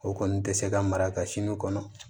O kɔni tɛ se ka mara ka sini kɔnɔ